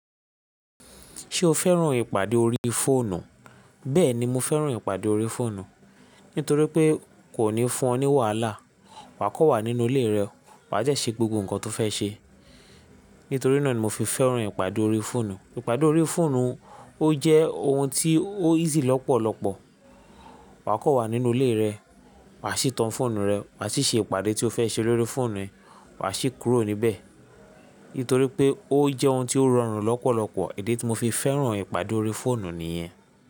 Ṣé o fẹ́ràn ìpàdé orí fóònù? Bẹ́ẹ̀ni, mo fẹ́ràn ìpàdé orí fóònù. Nítorí pé kò ní fún ọ ní wàhálà. Wà á kò wà nínú ilé rẹ, wà á dẹ́ ṣe gbogbo nǹkan tó fẹ́ ṣe. Nítorí náà ni mo fi fẹ́ràn ìpàdé orí fóònù. Ìpàdé orí fóònù ó jẹ́ ohun tí ó easy lọ́pọ̀lọ́pọ̀. Wà á kò wà nínú ilé rẹ, wà á sì tan fóònù rẹ, wà á sì ṣe ìpàdé tí o fẹ́ ṣe lórí fóònù ẹ, wà á sì kúrò níbẹ̀. Nítorí pé ó jẹ́ ohun tí ó rọrùn lọ́pọ̀lọ́pọ̀. Idi tí mo fi fẹ́ràn ìpàdé orí fóònù nìyẹn.